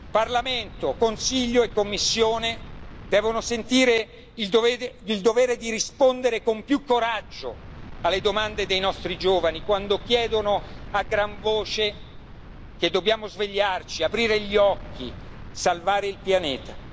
Parlamento, Consiglio e Commissione devono sentire il dovere di rispondere con più coraggio alle domande dei nostri giovani quando chiedono a gran voce che dobbiamo svegliarci, aprire gli occhi e salvare il pianeta.